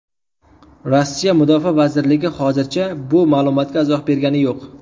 Rossiya Mudofaa vazirligi hozircha bu ma’lumotga izoh bergani yo‘q.